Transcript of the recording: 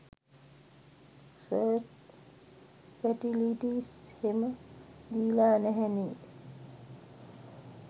search facilities හෙම දීල නැහැනෙ